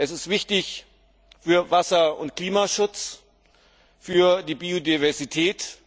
Er ist wichtig für den Wasser und den Klimaschutz und für die Biodiversität.